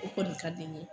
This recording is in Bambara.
O kɔni ka di ne ye